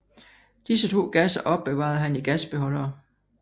Disse to gasser opbevarede han i gasbeholdere